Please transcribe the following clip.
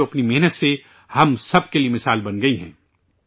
آج ، وہ اپنی محنت سے ہم سب کے لئے ایک مثال بن گئی ہیں